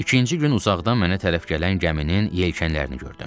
İkinci gün uzaqdan mənə tərəf gələn gəminin yelkənlərini gördüm.